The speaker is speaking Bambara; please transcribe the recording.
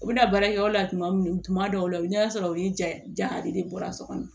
U bɛna baara kɛ yɔrɔ la tuma min tuma dɔw la i bɛ taa sɔrɔ u ni ja de bɔra so kɔnɔ